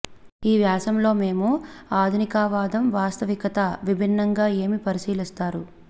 ఈ వ్యాసం లో మేము ఆధునికవాదం వాస్తవికత విభిన్నంగా ఏమి పరిశీలిస్తారు